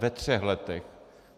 Ve třech letech.